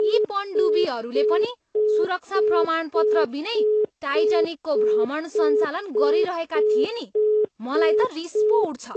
यी पनडुब्बीहरूले पनि सुरक्षा प्रमाणपत्र बिनै टाइटानिकको भ्रमण सञ्चालन गरिरहेका थिए नि। मलाई त रिस पो उठ्छ।